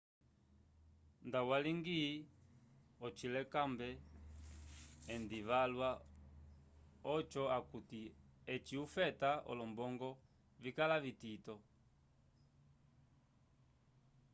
nda waligi ociyolelakombe endi valwa ojo akuti eci ufeta olombongo vikala vitito